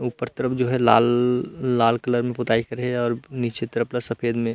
ऊपर तरफ जो है लाल-लाल कलर में पोताई करे हे और निचे तरफ ल सेफद में--